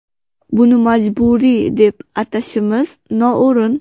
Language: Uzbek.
Buni majburiy, deb atashimiz noo‘rin.